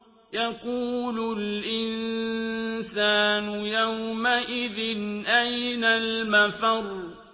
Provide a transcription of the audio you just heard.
يَقُولُ الْإِنسَانُ يَوْمَئِذٍ أَيْنَ الْمَفَرُّ